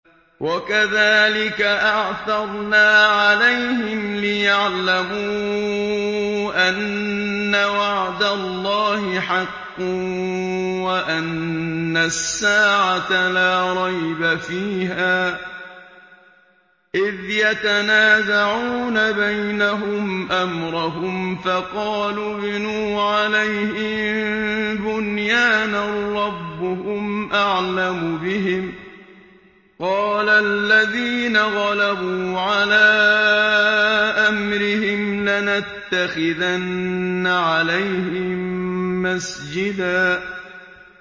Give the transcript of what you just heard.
وَكَذَٰلِكَ أَعْثَرْنَا عَلَيْهِمْ لِيَعْلَمُوا أَنَّ وَعْدَ اللَّهِ حَقٌّ وَأَنَّ السَّاعَةَ لَا رَيْبَ فِيهَا إِذْ يَتَنَازَعُونَ بَيْنَهُمْ أَمْرَهُمْ ۖ فَقَالُوا ابْنُوا عَلَيْهِم بُنْيَانًا ۖ رَّبُّهُمْ أَعْلَمُ بِهِمْ ۚ قَالَ الَّذِينَ غَلَبُوا عَلَىٰ أَمْرِهِمْ لَنَتَّخِذَنَّ عَلَيْهِم مَّسْجِدًا